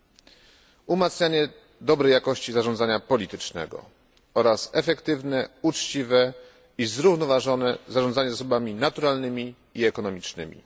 Są to umacnianie dobrej jakości zarządzania politycznego oraz efektywne, uczciwe i zrównoważone zarządzanie zasobami naturalnymi i ekonomicznymi.